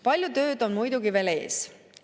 Palju tööd on muidugi veel ees.